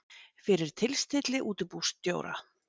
fyrir tilstilli útibússtjóra.